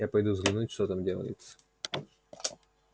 я пойду взглянуть что там делается